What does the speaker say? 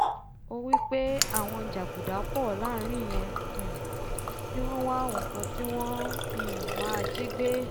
ó wípé àwọn jàgùdà pọ̀ láàrin yẹn um tí wọ́n wá nkan tí wọ́n um máa jígbé